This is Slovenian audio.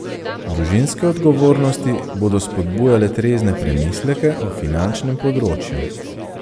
Družinske odgovornosti bodo spodbujale trezne premisleke o finančnem področju.